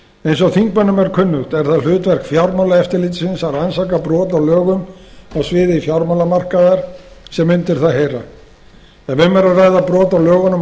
eins og þingmönnum er kunnugt er það hlutverk fjármálaeftirlitsins að rannsaka brot á lögum á sviði fjármálamarkaðar sem undir það heyra ef um er að ræða brot á lögunum